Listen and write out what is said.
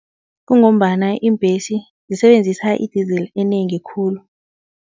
Kungombana iimbhesi zisebenzisa i-diesel enengi khulu.